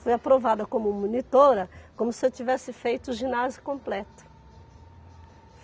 Fui aprovada como monitora, como se eu tivesse feito o ginásio completo.